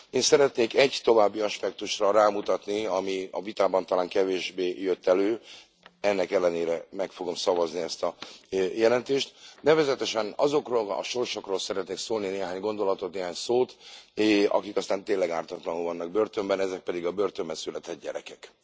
Én szeretnék egy további aspektusra rámutatni, ami a vitában talán kevésbé jött elő ennek ellenére meg fogom szavazni ezt a jelentést nevezetesen azokról a sorsokról szeretnék szólni néhány gondolatot, néhány szót, akik aztán tényleg ártatlanul vannak börtönben, ezek pedig a börtönben született gyerekek.